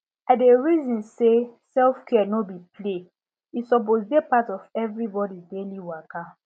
i dey reason say selfcare no be play e suppose dey part of everybody daily waka